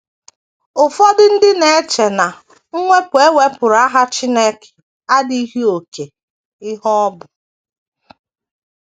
Ụfọdụ ndị na - eche na mwepụ e wepụrụ aha Chineke adịghị oké ihe ọ bụ.